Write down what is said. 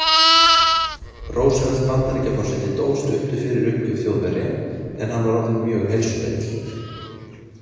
Roosevelt Bandaríkjaforseti dó stuttu fyrir uppgjöf Þjóðverja, en hann var orðinn mjög heilsuveill.